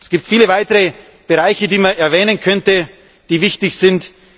Es gibt viele weitere Bereiche, die man erwähnen könnte, die wichtig sind.